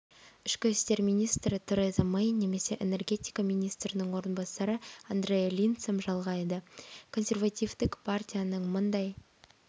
ішкі істер министрі тереза мэй немесе энергетика министрінің орынбасары андреа линдсом жалғайды консервативтік партияның мыңдай